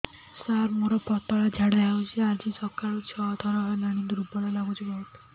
ସାର ମୋର ପତଳା ଝାଡା ହେଉଛି ଆଜି ସକାଳୁ ଛଅ ଥର ହେଲାଣି ଦୁର୍ବଳ ଲାଗୁଚି ବହୁତ